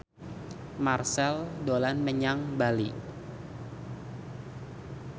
Marchell dolan menyang Bali